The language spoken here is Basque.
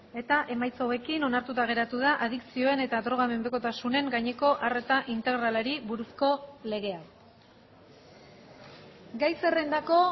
eta emaitza hauekin onartuta geratu da adikzioen eta drogamenpekotasunen gaineko arreta integralari buruzko legea gai zerrendako